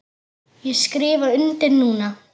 Ég skrifa undir núna.